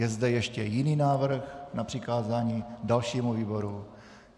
Je zde ještě jiný návrh na přikázání dalšímu výboru?